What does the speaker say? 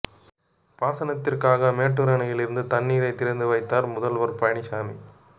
பாசனத்திற்காக மேட்டூர் அணையில் இருந்து தண்ணீரை திறந்து வைத்தார் முதல்வர் பழனிசாமி